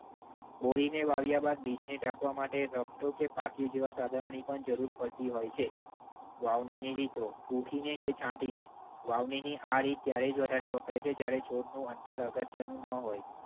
ઓળીને વાવ્યા બાદ બીજને ઢાંકવા માટે રફતો કે પાટિયું જેવા સાધનોની પણ જરૂર પડતી હોય છે. વાવણીની રીતો. પુંખીને કે છાંટીને. વાવણીની આ રીત ત્યારે જ વધારે વપરાય છે જ્યારે છોડનું અંતર અગત્યનું ન હોય.